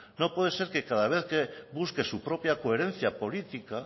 no puede ser que cada vez que busque su propia coherencia política